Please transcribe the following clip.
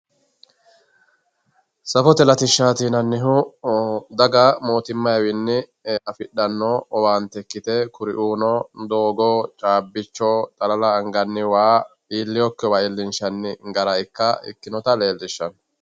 Safote latishshati yinannihu daga mootimmawinni affidhano owaante ikkite kuriuno doogo caabbicho xalala anganni waa iillinokkiwa iillinshanni gara ikkinotta leelishano.